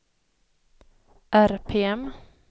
RPM